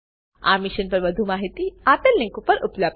આ મિશન પર વધુ માહિતી આ લીંક પર ઉપલબ્ધ છે